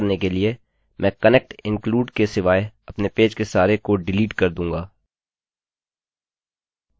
यह करने के लिए मैं connect include के सिवाय अपने पेज के सारे कोड डिलीट कर दूँगा